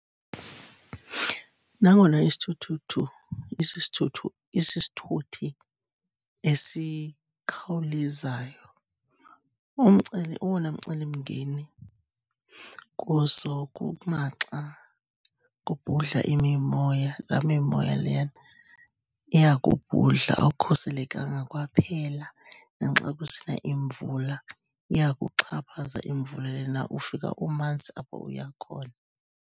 Nangona isithuthuthu isisithuthu isisithuthi esikhawulezayo, umceli owona mcelimngeni kuso kukumaxa kubhudla imimoya, laa mimoya leyana iyakubhudla awukhuselekanga kwaphela. Naxa kusina imvula iyakuxhaphaza imvula lena, ufika umanzi apho uya khona.